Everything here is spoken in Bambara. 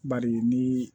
Bari ni